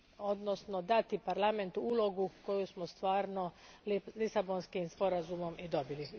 odnosno dati Parlamentu ulogu koju smo stvarno Lisabonskim sporazumom i dobili.